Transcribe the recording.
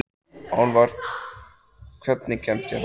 Álfar, hvernig kemst ég þangað?